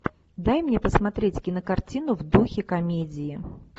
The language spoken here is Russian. дай мне посмотреть кинокартину в духе комедии